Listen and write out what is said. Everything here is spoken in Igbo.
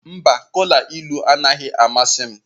Mba, kola ilu anaghị amasị m.